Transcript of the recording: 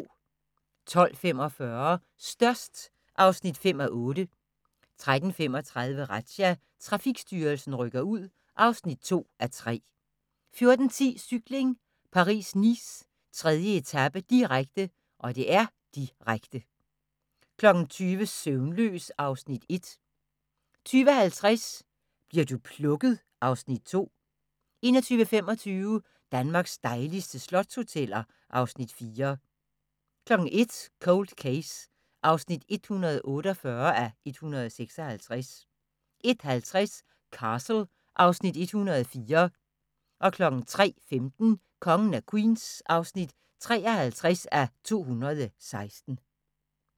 12:45: Størst (5:8) 13:35: Razzia – Trafikstyrelsen rykker ud (2:3) 14:10: Cykling: Paris-Nice, 3. etape, direkte, direkte 20:00: Søvnløs (Afs. 1) 20:50: Bli'r du plukket? (Afs. 2) 21:25: Danmarks dejligste slotshoteller (Afs. 4) 01:00: Cold Case (148:156) 01:50: Castle (Afs. 104) 03:15: Kongen af Queens (53:216)